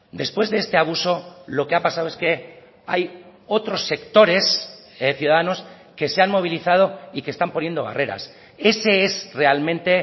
después de este abuso lo que ha pasado es que hay otros sectores ciudadanos que se han movilizado y que están poniendo barreras ese es realmente